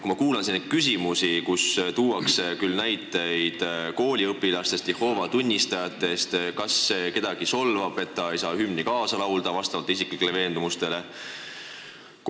Ma kuulan siin neid küsimusi, kus tuuakse näiteid kooliõpilaste ja Jehoova tunnistajate kohta – kas see solvab kedagi, kui ta ei saa vastavalt isiklikele veendumustele hümni kaasa laulda?